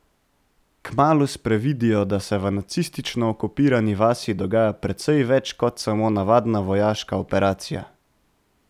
Kmalu sprevidijo, da se v nacistično okupirani vasi dogaja precej več kot samo navadna vojaška operacija.